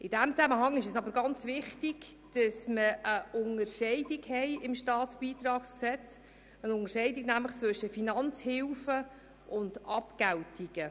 In diesem Zusammenhang ist es aber sehr wichtig, im StBG eine Unterscheidung zwischen Finanzhilfen und Abgeltungen zu treffen.